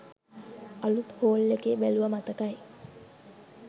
අලුත් හෝල් එකේ බැලුවා මතකයි.